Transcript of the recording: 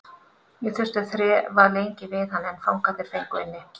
Ég þurfti að þrefa lengi við hann en fangarnir fengu inni.